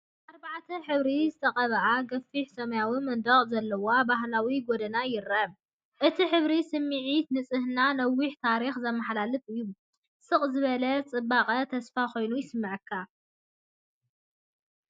ብኣርባዕተ ሕብሪ ዝተቐብአ ገፊሕ ሰማያዊ መንደቕ ዘለዎ ባህላዊ ጎደና ይርአ። እቲ ሕብሪ ስምዒት ንጽህናን ነዊሕ ታሪኽን ዘመሓላልፍ እዩ፤ ስቕ ዝበለ ጽባቐ ተስፋ ኮይኑ ይስምዓካ።